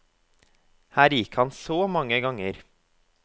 Her gikk han så mange ganger.